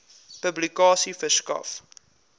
publikasie verskaf